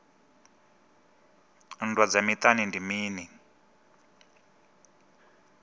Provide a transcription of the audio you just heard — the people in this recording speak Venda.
nndwa dza miṱani ndi mini